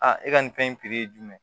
Aa e ka nin fɛn in ye jumɛn